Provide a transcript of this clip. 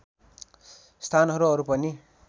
स्थानहरू अरू पनि